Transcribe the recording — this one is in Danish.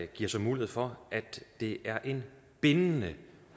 giver så mulighed for at det er en bindende